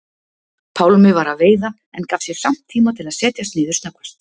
Pálmi var að veiða en gaf sér samt tíma til að setjast niður snöggvast.